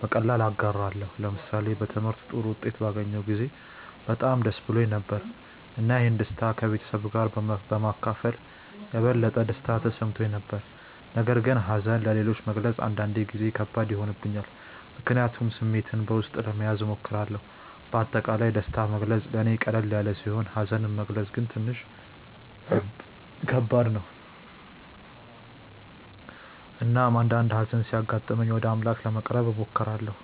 በቀላሉ እጋራለሁ። ለምሳሌ በትምህርቴ ጥሩ ውጤት ባገኘሁ ጊዜ በጣም ደስ ብሎኝ ነበር፣ እና ይህን ደስታ ከቤተሰቤ ጋር በመካፈል የበለጠ ደስታ ተሰምቶኝ ነበር። ነገር ግን ሀዘንን ለሌሎች መግለጽ አንዳንድ ጊዜ ከባድ ይሆንብኛል፣ ምክንያቱም ስሜቴን በውስጤ ለመያዝ እሞክራለሁ። በአጠቃላይ ደስታን መግለጽ ለእኔ ቀላል ሲሆን ሀዘንን መግለጽ ግን ትንሽ ከባድ ነው። እናም አንዳአንዴ ሀዘን ሲያጋጥመኝ ወደ አምላክ ለመቅረብ እሞክራለሁ።